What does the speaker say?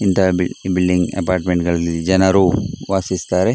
ಇಂತಹ build building ಅಪಾರ್ಟ್ಮೆಂಟ್ಗಳಲ್ಲಿ ಜನರು ವಾಸಿಸ್ ತ್ತಾರೆ .